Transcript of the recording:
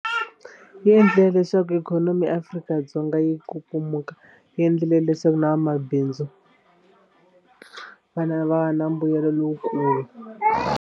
Yi endle leswaku ikhonomi ya Afrika-Dzonga yi kukumuka yi endlile leswaku na vamabindzu va na va na mbuyelo lowukulu.